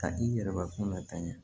Ka i yɛrɛbakunnata ɲɛ